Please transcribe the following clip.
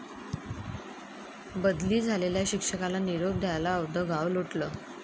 बदली झालेल्या शिक्षकाला निरोप द्यायला अवघं गाव लोटलं!